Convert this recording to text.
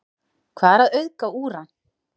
hvað er að auðga úran